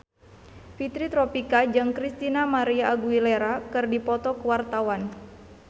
Fitri Tropika jeung Christina María Aguilera keur dipoto ku wartawan